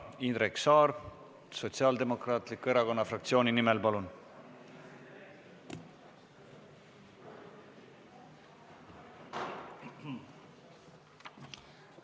Indrek Saar Sotsiaaldemokraatliku Erakonna fraktsiooni nimel, palun!